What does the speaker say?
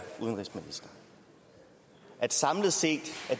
udenrigsminister at samlet set